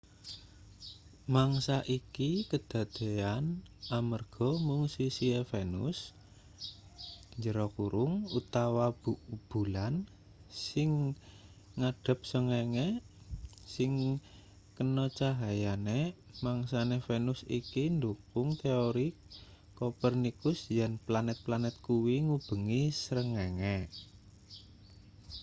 mangsa iki kadadeyan amanarga mung sisihe venus utawa bulan sing ngadhep srengenge sing kena cahyane. mangsane venus iki ndhukung teori kopernikus yen planet-planet kuwi ngubengi srengenge